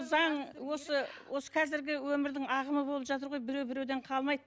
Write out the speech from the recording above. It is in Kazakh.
заң осы осы қазіргі өмірдің ағымы болып жатыр ғой біреу біреуден қалмайды